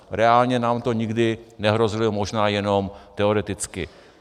Reálně nám to nikdy nehrozilo, možná jenom teoreticky.